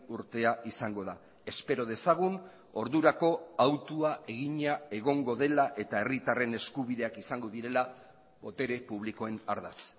urtea izango da espero dezagun ordurako hautua egina egongo dela eta herritarren eskubideak izango direla botere publikoen ardatz